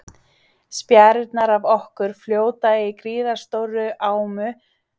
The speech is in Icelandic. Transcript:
Spjarirnar af okkur fljóta í gríðarstórri ámu sem hún hrærir í með árarblaði.